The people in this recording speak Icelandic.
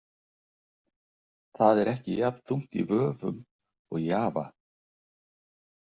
Það er ekki jafn þungt í vöfum og Java.